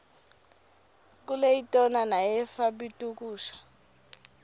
kuleitona neyefa bltukusha